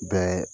Bɛɛ